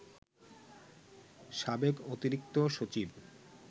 সাবেক অতিরিক্ত সচিব